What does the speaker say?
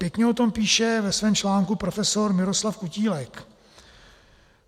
Pěkně o tom píše ve svém článku profesor Miroslav Kutílek.